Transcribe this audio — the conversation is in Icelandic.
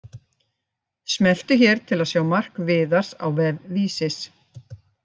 Smelltu hér til að sjá mark Viðars á vef Vísis